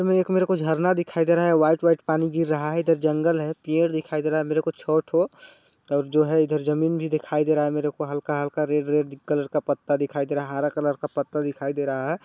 एक मेरे को एक झरना दिखाई दे रहा है व्हाइट- व्हाइट पानी गिर रहा है इधर जंगल है पेड़ दिखाई दे रहा है मेरे को छौ ठो और जो है इधर जमीन भी दिखाई दे रहा हैमेरे को हल्का-हल्का रेड -रेड कलर का पता दिखाई दे रहा है हरा कलर का पता दिखाई दे रहा हैं।